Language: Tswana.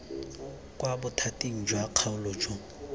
kwa bothating jwa kgaolo jo